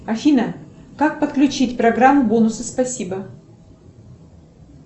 афина как подключить программу бонусы спасибо